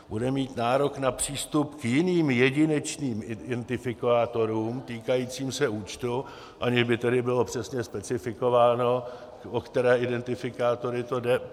Bude mít nárok na přístup k jiným jedinečným identifikátorům týkajícím se účtu, aniž by tedy bylo přesně specifikováno, o které identifikátory to jde.